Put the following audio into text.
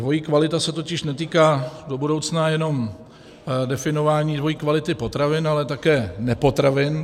Dvojí kvalita se totiž netýká do budoucna jenom definování dvojí kvality potravin, ale také nepotravin.